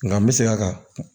Nka n bɛ segin a kan